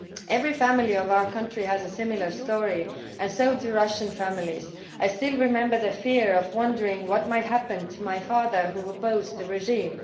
Every family in our country has a similar story and so do Russian families. I still remember the fear of wondering what might happen to my father who opposed the regime.